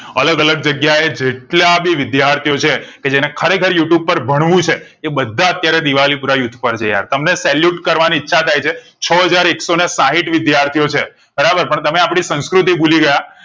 અલગ અલગ જગ્યાએ જેટાલાંભી વિદ્યાર્થીઓ છે કે જે ને ખરેખર you tube પર ભણવું છે એ બધા અત્યારે દિવાળી પૂરા યુથ પર છે યાર તમને salute કરવાની ઈચ્છા થાય છે છાહજાર એકસો ને સાહીંઠ વિદ્યાર્થીઓ છે બરાબર પણ તમે આપણી સંસ્કૃતિ ભૂલી ગયા